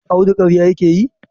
Audu karya yake yi?